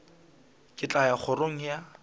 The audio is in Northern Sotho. ke tla ya kgorong ya